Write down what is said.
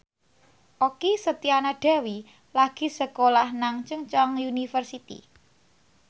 Okky Setiana Dewi lagi sekolah nang Chungceong University